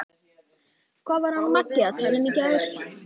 Erni leið eins og einhverju undri.